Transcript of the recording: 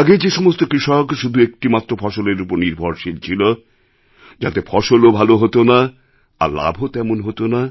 আগে যে সমস্ত কৃষক শুধু একটি মাত্র ফসলের ওপর নির্ভরশীল ছিল যাতে ফসলও ভাল হত না আর লাভও তেমন হত না